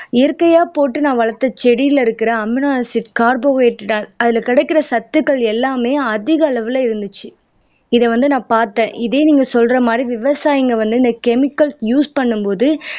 இயற்கையா போட்டு நான் வளர்த்த செடியில இருக்கிற அமினோ ஆசிட் கார்போஹைடிரேட் அதுல கிடைக்கிற சத்துக்கள் எல்லாமே அதிக அளவுல இருந்துச்சு இதை வந்து நான் பார்த்தேன் இதே நீங்க சொல்ற மாதிரி விவசாயிங்க வந்து இந்த கெமிக்கல்ஸ் யூஸ் பண்ணும் போது